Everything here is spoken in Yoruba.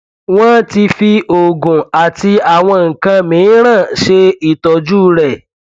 wọn ti fi oògùn àti àwọn nǹkan miìíràn ṣe ìtọjú rẹ